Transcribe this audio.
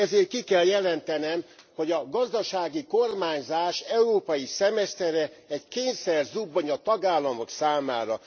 Ezért ki kell jelentenem, hogy a gazdasági kormányzás európai szemesztere egy kényszerzubbony a tagállamok számára.